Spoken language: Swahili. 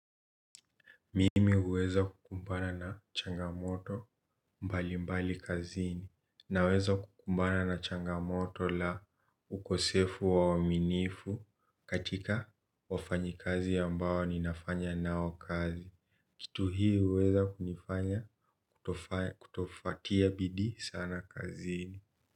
Mimi huweza kukumbana na changamoto mbali mbali kazini naweza kukumbana na changamoto la ukosefu wa uwaminifu katika wafanyikazi ambao ninafanya nao kazi. Kitu hii uweza kunifanya kutofatia bidii sana kazini.